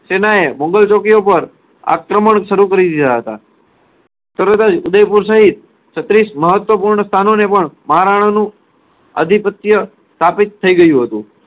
સેનાએ મોગલ ચોકીઓ પર આક્રમણ શરુ કરી દીધા હતા. સર્વથા ઉદયપુર સહીત છત્રીસ મહત્વપૂર્ણ સ્થાનોને પણ મહારાણાનું આધિપત્ય સ્થાપિત થઇ ગયું હતું.